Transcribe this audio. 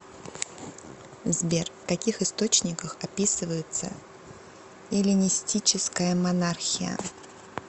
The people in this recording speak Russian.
сбер в каких источниках описывается эллинистическая монархия